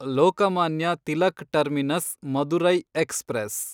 Lokmanya Tilak terminus Madurai express